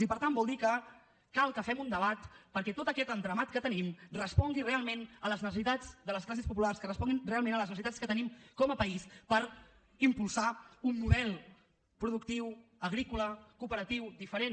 i per tant vol dir que cal que fem un debat perquè tot aquest entramat que tenim respongui realment a les necessitats de les classes populars que respongui realment a les necessitats que tenim com a país per impulsar un model productiu agrícola cooperatiu diferent